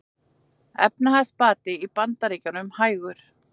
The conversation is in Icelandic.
Efnahagsbati í Bandaríkjunum hægur